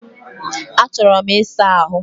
Achọrọ m ịsa ahụ